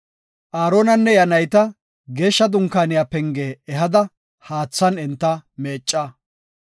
“Aaronanne iya nayta Geeshsha Dunkaaniya penge ehada haathan enta meecca.